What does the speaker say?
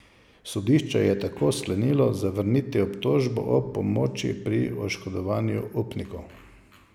Sodišče je tako sklenilo zavrniti obtožbo o pomoči pri oškodovanju upnikov.